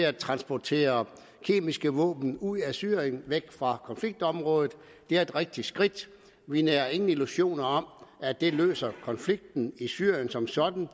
at transportere kemiske våben ud af syrien væk fra konfliktområdet det er et rigtigt skridt vi nærer ingen illusioner om at det løser konflikten i syrien som sådan